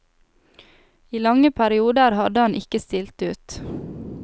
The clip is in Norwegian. I lange perioder hadde han ikke stilt ut.